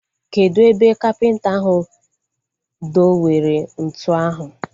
Kedụ ebe kapịnta ahu do were ntụ ahu?